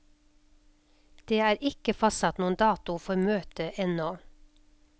Det er ikke fastsatt noen dato for møtet enda.